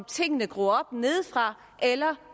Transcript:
ting der gror op nedefra eller